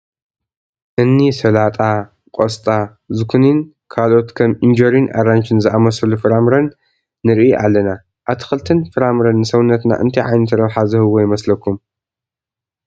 እኒ ሰላጣ፣ ቆስጣ፣ ዝኩኒን ካልኦት ከም ኢንጆሪን ኣራንሽን ዝኣምሰሉ ፍራምረን ንርኢ ኣለና፡፡ ኣትክልቲን ፍረምረን ንሰውነትና እንታይ ዓይነት ረብሓ ዝህብዎ ይመስለኹም?